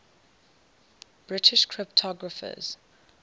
british cryptographers